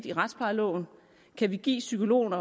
i retsplejeloven kan vi give psykologerne